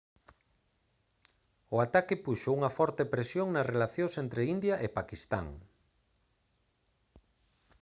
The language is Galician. o ataque puxo unha forte presión nas relacións entre india e paquistán